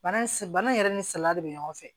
Bana bana in yɛrɛ ni salaya de bɛ ɲɔgɔn fɛ